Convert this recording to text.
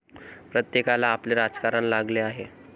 प्रत्येकाला आपले राजकारण लागले आहे.